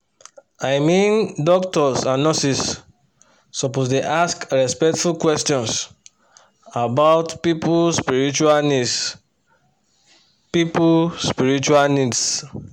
i mean doctors and nurses suppose dey ask respectful questions about people spiritual needs. people spiritual needs.